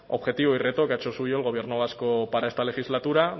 objetivo y reto que ha hecho suyo el gobierno vasco para esta legislatura